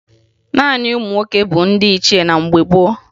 Naanị ụmụ nwoke bụ ndị ichie na mgbe gboo